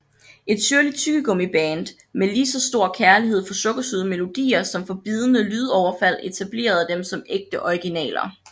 Et syrligt tyggegummiband med lige så stor kærlighed for sukkersøde melodier som for bidende lydoverfald etablerede dem som ægte originaler